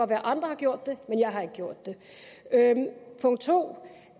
være andre har gjort det men jeg har ikke gjort det punkt 2